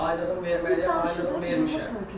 Aylığım verməliyəm, aylığım vermişəm.